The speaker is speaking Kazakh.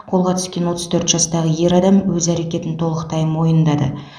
қолға түскен отыз төрт жастағы ер адам өз әрекетін толықтай мойындады